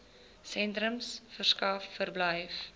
sentrums verskaf verblyf